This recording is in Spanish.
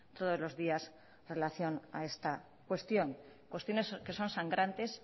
todos los días relación a esta cuestión cuestiones que son sangrantes